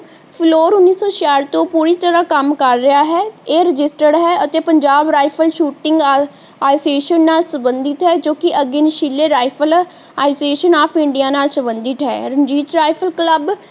floor ਉਨੀਸੋ ਛਿਆਠ ਤੋਂ ਪੂਰੀ ਤਰਾਹ ਕੰਮ ਕਰ ਰਿਹਾ ਹੈ ਇਹ registered ਹੈ ਅਤੇ ਪੰਜਾਬ ਰਾਇਫ਼ਲ shooting association ਨਾਲ ਸੰਬੰਧਿਤ ਹੈ ਜੋ ਕਿ again ਸ਼ਿਲੇ ਰਾਈਫਲ association of India ਨਾਲ ਸੰਬੰਧਿਤ ਹੈ ਰਣਜੀਤ ਰਾਇਫ਼ਲ ਕਲੱਬ